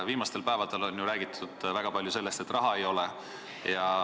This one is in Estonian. Viimastel päevadel on väga palju räägitud sellest, et raha ei ole.